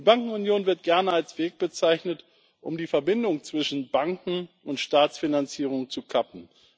Die Bankenunion wird gerne als Weg bezeichnet, um die Verbindung zwischen Banken und Staatsfinanzierung zu kappen.